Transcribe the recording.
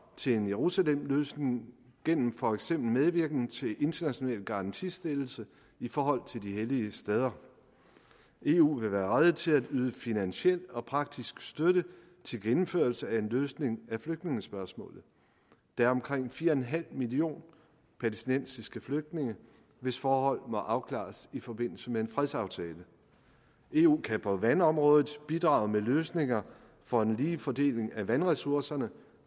til en jerusalemløsning gennem for eksempel medvirken til international garantistillelse i forhold til de hellige steder eu vil være rede til at yde finansiel og praktisk støtte til gennemførelse af en løsning af flygtningespørgsmålet der er omkring fire millioner palæstinensiske flygtninge hvis forhold må afklares i forbindelse med en fredsaftale eu kan på vandområdet bidrage med løsninger for en lige fordeling af vandressourcerne